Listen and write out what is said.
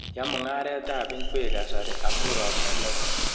Ya mung'aret ab ab ngwek kasari amu ropta neo